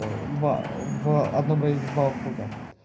два в одном районе два круга